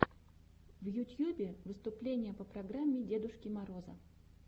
в ютьюбе выступление по программе дедушки мороза